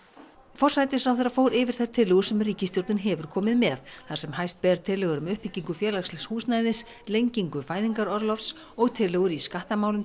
forsætisráðherra fór yfir þær tillögur sem ríkisstjórnin hefur komið með þar sem hæst ber tillögur um uppbyggingu félagslegs húsnæðis lengingu fæðingarorlofs og tillögur í skattamálum